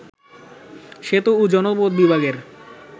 সেতু ও জনপথ বিভাগের